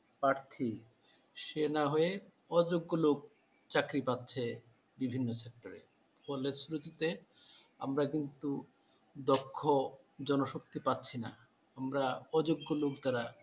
প্রার্থী সে না হয়ে অযোগ্য লোক চাকরি পাচ্ছে বিভিন্ন ক্ষেত্রে college school তে আমরা কিন্তু দক্ষ জনশক্তি পাচ্ছিনা আমরা অযোগ্য লোক দ্বারা